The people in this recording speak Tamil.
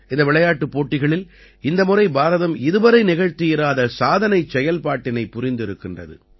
இந்த விளையாட்டுப் போட்டிகளில் இந்த முறை பாரதம் இதுவரை நிகழ்த்தியிராத சாதனைச் செயல்பாட்டினைப் புரிந்திருக்கிறது